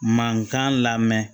Mankan lamɛn